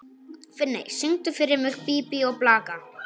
Finney, syngdu fyrir mig „Bí bí og blaka“.